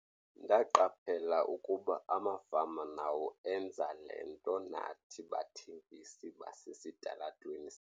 "Ndaqaphela ukuba amafama nawo enza le nto nathi bathengisi basesitalatweni."